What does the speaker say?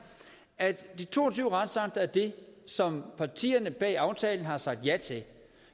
at de to og tyve retsakter er det som partierne bag aftalen har sagt ja til